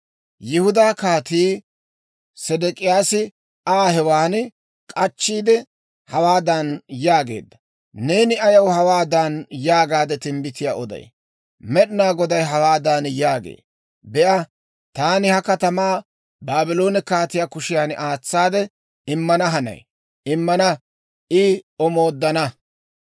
Yihudaa Kaatii Sedek'iyaasi Aa hewan k'achchiide, hawaadan yaageedda; «Neeni ayaw hawaadan yaagaade timbbitiyaa oday? Med'inaa Goday hawaadan yaagee; ‹Be'a, taani ha katamaa Baabloone kaatiyaa kushiyan aatsaade immana hanay; immina I omooddana.